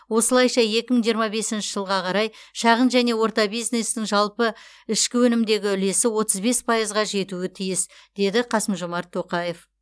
осылайша екі мың жиырма бесінші жылға қарай шағын және орта бизнестің жалпы ішкі өнімдегі үлесі отыз бес пайызға жетуі тиіс деді қасым жомарт тоқаев